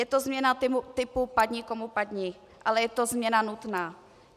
Je to změna typu padni komu padni, ale je to změna nutná.